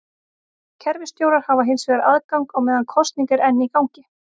Kerfisstjórar hafa hins vegar aðgang á meðan kosning er enn í gangi.